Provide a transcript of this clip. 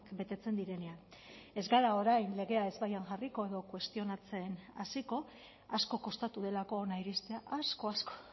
betetzen direnean ez gara orain legea ezbaian jarriko edo kuestionatzen hasiko asko kostatu delako hona iristea asko asko